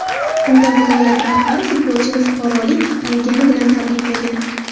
Unda viloyat rahbari futbolchini fuqarolik olgani bilan tabriklagan .